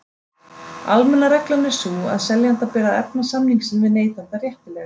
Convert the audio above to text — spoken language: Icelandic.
Almenna reglan er sú að seljanda ber að efna samning sinn við neytanda réttilega.